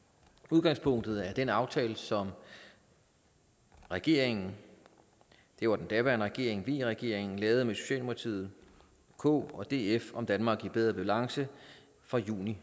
udgangspunktet er den aftale som regeringen det var den daværende regering v regeringen lavede med socialdemokratiet kf og df om et danmark i bedre balance fra juni